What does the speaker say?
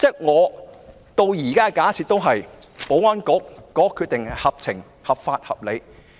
我到目前為止仍假設保安局的決定合法、合情、合理。